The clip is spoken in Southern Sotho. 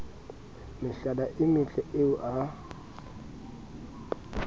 mehlala e metle eo a